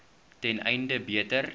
ten einde beter